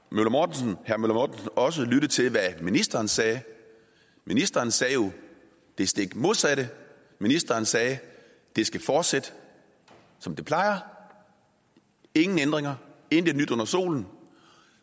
møller mortensen også lyttet til hvad ministeren sagde ministeren sagde jo det stik modsatte ministeren sagde det skal fortsætte som det plejer ingen ændringer intet nyt under solen